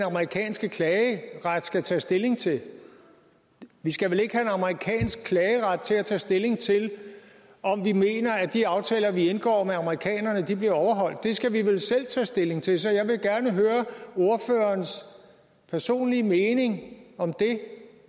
amerikanske klageret skal tage stilling til vi skal vel ikke have en amerikansk klageret til at tage stilling til om vi mener at de aftaler vi indgår med amerikanerne bliver overholdt det skal vi vel selv tage stilling til så jeg vil gerne høre ordførerens personlige mening om det